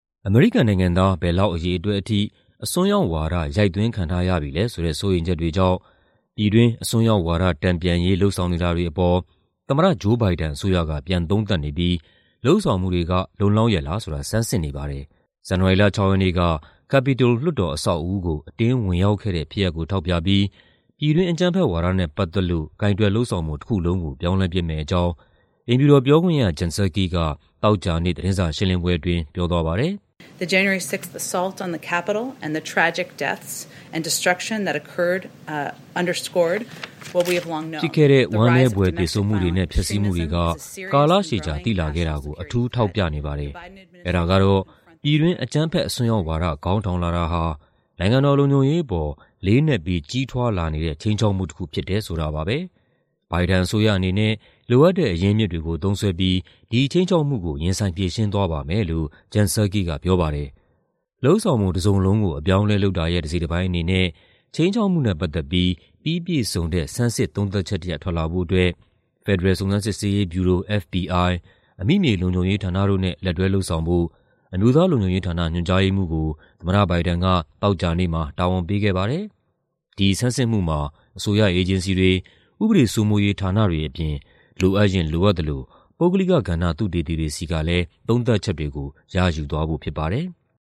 အမေရိကန်နိုင်ငံသား ဘယ်လောက်အရေအတွက်ထိ အစွန်းရောက်ဝါဒ ရိုက်သွင်းခံထားရပြီလဲဆိုတဲ့ စိုးရိမ်ချက်တွေကြောင့် ပြည်တွင်း အစွန်းရောက်ဝါဒ တန်ပြန်ရေး လုပ်ဆောင်နေတာတွေအပေါ် သမ္မတ Joe Biden အစိုးရက ပြန်သုံးသပ်နေပြီး လုပ်ဆောင်မှုတွေက လုံလောက်ရဲ့လားဆိုတာ ဆန်းစစ်နေပါတယ်။ ဇန်နဝါရီလ ၆ ရက်နေ့က Capitol လွှတ်တော်အဆောက်အဦးကို အတင်းဝင်ရောက်ခဲ့တဲ့ ဖြစ်ရပ်ကို ထောက်ပြပြီး ပြည်တွင်းအကြမ်းဖက်ဝါဒနဲ့ ပတ်သက်လို့ ကိုင်တွယ်လုပ်ဆောင်ပုံ တခုလုံးကို ပြောင်းလဲပစ်မယ့်အကြောင်း အိမ်ဖြူတော်ပြောခွင့်ရ Jen Psaki က သောကြာနေ့ သတင်းစာရှင်းလင်းပွဲအတွင်း ပြောသွားပါတယ်။ "ဖြစ်ခဲ့တဲ့ ဝမ်းနည်းဖွယ် သေဆုံးမှုတွေနဲ့ ဖျက်ဆီးမှုတွေက ကာလရှည်ကြာ သိလာခဲ့တာကို အထူးထောက်ပြနေပါတယ်။ အဲဒါကတော့ ပြည်တွင်းအကြမ်းဖက် အစွန်းရောက်ဝါဒ ခေါင်းထောင်လာတာဟာ နိုင်ငံတော်လုံခြုံရေးအပေါ် လေးနက်ပြီး ကြီးထွားလာနေတဲ့ ခြိမ်းခြောက်မှုတခုဖြစ်တယ် ဆိုတာပါပဲ။ Biden အစိုးရအနေနဲ့ လိုအပ်တဲ့ အရင်းအမြစ်တွေကို သုံးစွဲပြီး ဒီခြိမ်းခြောက်မှုကို ရင်ဆိုင်ဖြေရှင်းသွားပါမယ်" လို့ Jen Psaki က ပြောပါတယ်။ လုပ်ဆောင်ပုံတစုံလုံးကို အပြောင်းအလဲလုပ်တာရဲ့ တစိတ်တပိုင်းအနေနဲ့ ခြိမ်းခြောက်မှုနဲ့ ပတ်သက်ပြီး ပြီးပြည့်စုံတဲ့ ဆန်းစစ်သုံးသပ်ချက်တရပ် ထွက်လာဖို့အတွက် ဖက်ဒရယ် စုံစမ်းစစ်ဆေးရေးဗျူရို (FBI)၊ အမိမြေလုံခြုံရေးဌာနတို့နဲ့ လက်တွဲလုပ်ဆောင်ဖို့ အမျိုးသားလုံခြုံရေးဌာန ညွှန်ကြားရေးမှူးကို သမ္မတ Biden က သောကြာနေ့မှာ တာဝန်ပေးခဲ့ပါတယ်။ ဒီဆန်းစစ်မှုမှာ အစိုးရအေဂျင်စီတွေ၊ ဥပဒေစိုးမိုးရေးဌာနတွေအပြင် လိုအပ်ရင် လိုအပ်သလို ပုဂ္ဂလိကကဏ္ဍ သုတေသီတွေဆီက သုံးသပ်ချက်တွေကို ရယူသွားဖို့ ဖြစ်ပါတယ်။